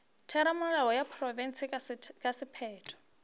theramelao ya profense ka sephetho